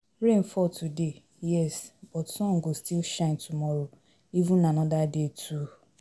Rain fall today, yes, but sun go still shine tomorrow even anoda day too.